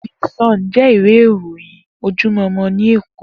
Di Sòn jè iwé iróyin ójójúmò ni Ékó